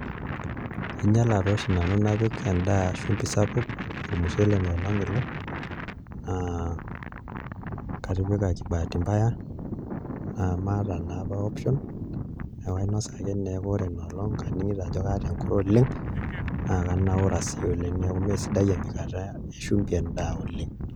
Ainyiala tooshi nanu napik endaa shumbi sapuk, ormushele tooi oshi ilo naa katipika kibahati mbaya namaata naa apa option akainasa ake kake aning'ito ina olong' ajo kaata enkure oleng' naa kanaura sii neeku mee sidai empika endaa shumbi oleng'.